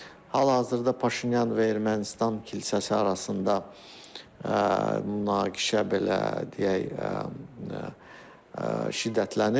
Hazırda Paşinyan və Ermənistan kilsəsi arasında münaqişə belə, deyək, şiddətlənib.